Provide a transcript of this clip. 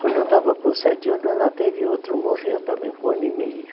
Quando eu estava com sete anos, ela teve outro, morreu também com um ano e meio.